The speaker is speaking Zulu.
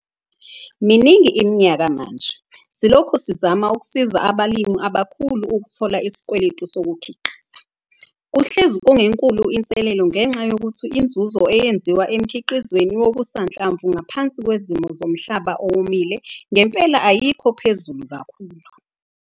Miningi iminyaka manje, silokhu sizama ukusiza abalimi abakhulu ukuthola isikweleti sokukhiqiza. Kuhlezi kungenkulu inselelo ngenxa yokuthi inzuzo eyenziwa emkhiqizweni wokusanhlamvu ngaphansi kwezimo zomhlaba owomile ngempela ayikho phezulu kakhulu.